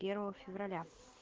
первого февраля